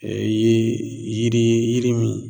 ye yiri ye yiri min